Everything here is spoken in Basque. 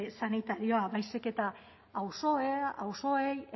sanitarioa baizik eta auzoei